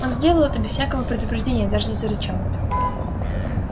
он сделал это без всякого предупреждения даже не зарычал